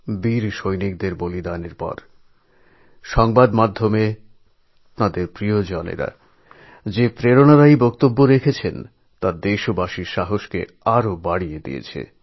বীর সৈনিকদের শহিদ হয়ে যাওয়ার পর মিডিয়ার মাধ্যমে তাঁদের পরিজনদের প্রেরণাদায়ক বার্তা সামনে এসেছিল যা কিনা সমগ্র দেশের মানুষের মধ্যে অতীব সাহস উৎসাহ এবং শক্তির প্রেরণা জাগিয়ে থাকে